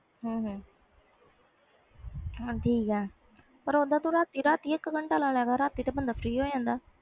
ਹੂੰ ਹੂੰ ਠੀਕ ਆ ਠੀਕ ਆ ਤੇ ਤੂੰ ਰਾਤੀ ਰਾਤੀ ਇਕ ਘੰਟਾ ਲੈਦਿਆਂ ਕਰ ਰਾਤੀ ਤੇ ਬੰਦਾ ਫ੍ਰੀ ਹੋ ਜਾਂਦਾ ਵ